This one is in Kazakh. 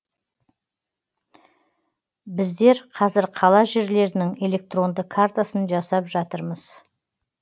біздер қазір қала жерлерінің электронды картасын жасап жатырмыз